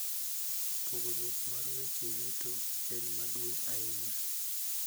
Pogruok mar weche yuto en maduong' ahinya.